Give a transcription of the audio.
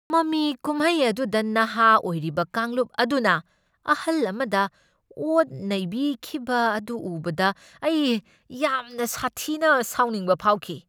ꯃꯃꯤ ꯀꯨꯝꯍꯩ ꯑꯗꯨꯗ ꯅꯍꯥ ꯑꯣꯏꯔꯤꯕ ꯀꯥꯡꯂꯨꯞ ꯑꯗꯨꯅ ꯑꯍꯜ ꯑꯃꯗ ꯑꯣꯠ ꯅꯩꯕꯤꯈꯤꯕ ꯑꯗꯨ ꯎꯕꯗ ꯑꯩ ꯌꯥꯝꯅ ꯁꯥꯊꯤꯅ ꯁꯥꯎꯅꯤꯡꯕ ꯐꯥꯎꯈꯤ꯫